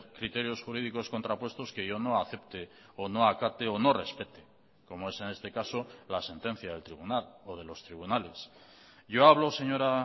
criterios jurídicos contrapuestos que yo no acepte o no acate o no respete como es en este caso la sentencia del tribunal o de los tribunales yo hablo señora